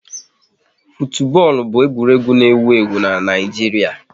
Futubọọlụ bụ egwuregwu n'ewu ewu n'Naijiria